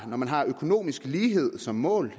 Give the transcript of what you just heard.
når man har økonomisk lighed som mål